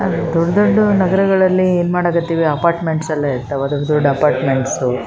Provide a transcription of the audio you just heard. ದೊಡ್ಡ ದೊಡ್ಡ ನಗರಗಳಲ್ಲಿ ಏನ್ ಮಾಡಕ್ ಹತ್ತೀವಿ ಅಪಾರ್ಟ್ಮೆಂಟ್ಸ್ ಎಲ್ಲ ಇರ್ತಾವ ದೊಡ್ಡ ದೊಡ್ಡ ಅಪಾರ್ಟ್ಮೆಂಟ್ಸ್ --